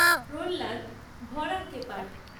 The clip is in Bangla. প্রহ্লাদ ভড়াক্কেপাট